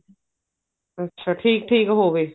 ਅੱਛਾ ਠੀਕ ਠੀਕ ਹੋਵੇ